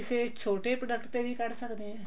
ਕਿਸੇ ਛੋਟੇ product ਤੇ ਵੀ ਕੱਢ ਸਕਦੇ ਹਾਂ